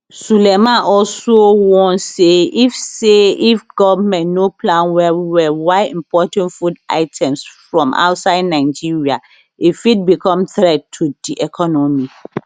sulaiman also warn say if say if goment no plan wellwell while importing food items from outside nigeria e fit become threat to di economy